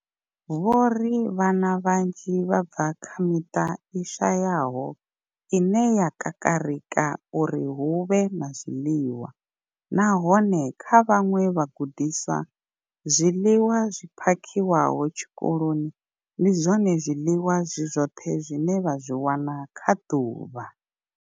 Vho ri vhana vhanzhi vha bva kha miṱa i shayaho ine ya kakarika uri hu vhe na zwiḽiwa, nahone kha vhaṅwe vhagudiswa, zwiḽiwa zwi phakhiwaho tshikoloni ndi zwone zwiḽiwa zwi zwoṱhe zwine vha zwi wana kha ḓuvha.